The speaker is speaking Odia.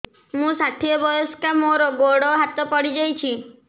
ମୁଁ ଷାଠିଏ ବୟସ୍କା ମୋର ଗୋଡ ହାତ ପଡିଯାଇଛି